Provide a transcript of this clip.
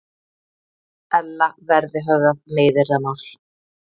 Ella verði höfðað meiðyrðamál